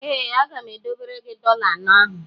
Ee, aga m edobere gị dọla anọ ahụ.